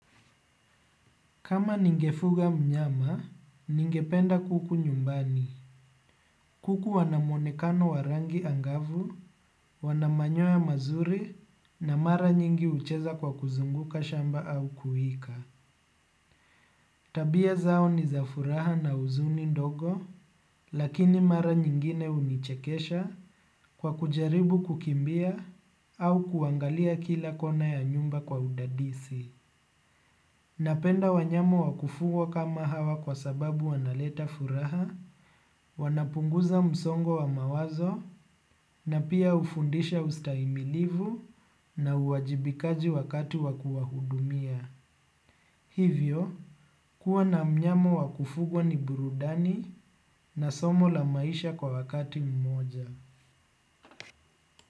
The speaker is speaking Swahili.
Kama ningefuga mnyama, ningependa kuku nyumbani. Kuku wana muonekano wa rangi angavu, wana manyoya mazuri, na mara nyingi ucheza kwa kuzunguka shamba au kuwika. Tabia zao ni za furaha na uzuni ndogo, lakini mara nyingine unichekesha kwa kujaribu kukimbia au kuangalia kila kona ya nyumba kwa udadisi. Napenda wanyama wa kufugwa kama hawa kwa sababu wanaleta furaha, wanapunguza msongo wa mawazo na pia ufundisha ustaimilivu na uwajibikaji wakati wa kuwahudumia. Hivyo, kuwa na mnyama wa kufugwa ni burudani na somo la maisha kwa wakati mmoja.